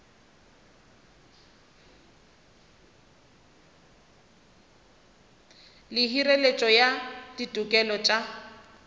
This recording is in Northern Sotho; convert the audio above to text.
le hireletšo ya ditokelo tša